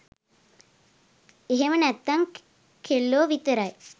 එහෙම නැත්තං කෙල්ලෝ විතරයි